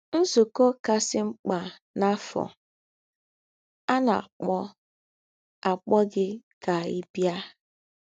Nzúkọ̄ Kasị Mkpa n’Áfọ̀ — À Na - àkpọ̀ - àkpọ̀ Gị Kà Ị̀ Bịa!